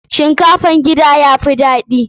Shinkafan gida ya fi daɗi.